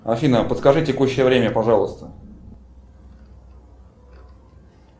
афина подскажи текущее время пожалуйста